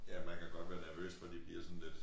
Ja man kan godt være nervøs for de bliver sådan lidt